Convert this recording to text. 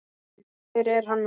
Hver er hann nú?